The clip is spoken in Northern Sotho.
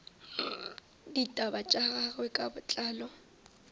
ditaba tša gagwe ka botlalo